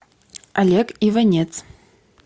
олег иванец